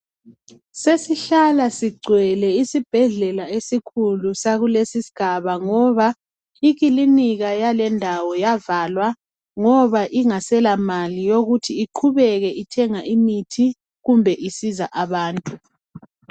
Sesihlala sigcwele isibhedlela esikhulu sakuleso sigaba ngoba iklinika yalendawo yavalwa ngoba ingasela mali yokuthi iqubeke ithenga imithi kumbe isiza abantu